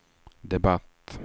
debatt